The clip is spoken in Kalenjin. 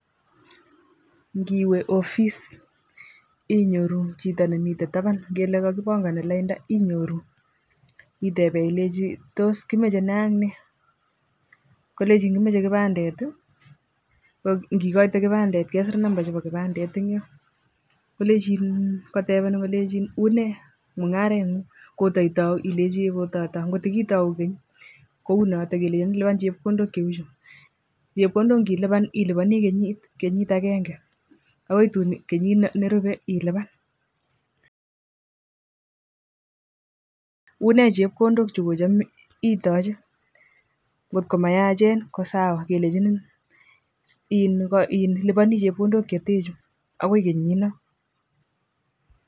Ngiwe Office inyoruu chito nemiten taban ngele kogibongoni lainda inyoruu, iteben ilenji tos kimoche nee ak nee kolechin kimoche kibandet ,ak igoitee kibandet kesir numbaisiek chebo kibandet en yoon kotebenin kolenchin unee mugareng nguung kotaitouu ilechi eeh kototouu, kotigitouu keny kounoton kelenchin luban chepkondok cheuchu, chepkondok nilipan ilubonii kenyit agenge akgoi tun kenyit nerubee ilubaan unee chepkondok chegocham itoche kot komayachen kosawa kelenjinin ilubonii chepkondok cheten chu agoi kenyii non.